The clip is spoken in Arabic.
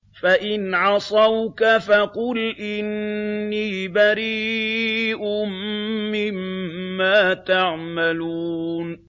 فَإِنْ عَصَوْكَ فَقُلْ إِنِّي بَرِيءٌ مِّمَّا تَعْمَلُونَ